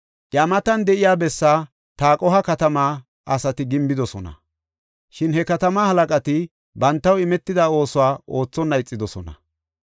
Iya matan de7iya bessaa Taqoha katamaa asati gimbidosona. Shin he katamaa halaqati bantaw imetida oosuwa oothonna ixidosona.